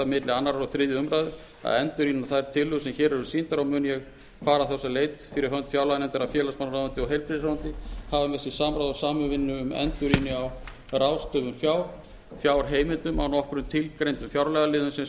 annars og þriðju umræðu að endurrýna þær tillögur sem hér eru sýndar og mun ég fara þess á leit fyrir hönd fjárlaganefndar að félagsmálaráðuneyti og heilbrigðisráðuneyti hafi með sér samráð og samvinnu um endurrýni á ráðstöfun fjár fjárheimildum á nokkrum tilgreindum fjárlagaliðum sem